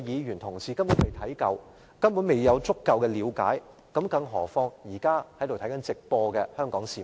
連他們也未能充分了解，更何況是正在收看直播的香港市民？